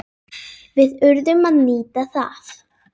Við urðum að nýta það.